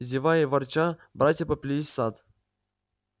зевая и ворча братья поплелись в сад